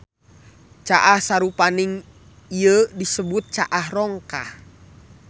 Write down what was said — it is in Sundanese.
Caah sarupaning ieu disebut caah rongkah.